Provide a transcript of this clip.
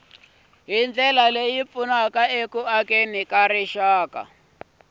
hi ndlela leyi pfunaka eku